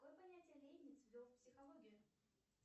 какое понятие лейбниц ввел в психологию